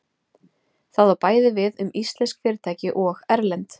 Það á bæði við um íslensk fyrirtæki og erlend.